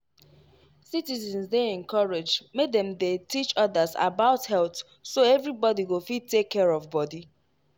citizens dey encouraged make dem dey teach others about health so everybody go fit take care of body.